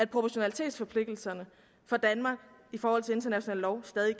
proportionalitetsforpligtelser i forhold til international lov stadig